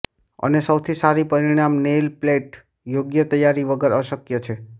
અને સૌથી સારી પરિણામ નેઇલ પ્લેટ યોગ્ય તૈયારી વગર અશક્ય છે